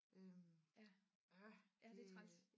Øh ja det